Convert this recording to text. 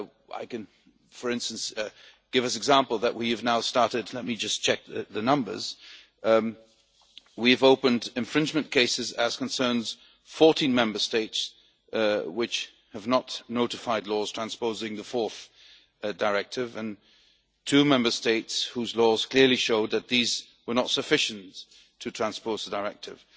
I can, for instance, give as an example that we have now let me just check the numbers we have opened infringement cases that concern 14 Member States which have not notified laws transposing the 4th Directive and two Member States whose laws clearly show that these were not sufficient to transpose the Directive.